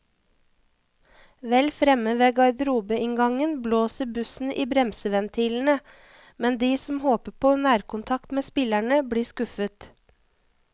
Vel fremme ved garderobeinngangen blåser bussen i bremseventilene, men de som håper på nærkontakt med spillerne, blir skuffet.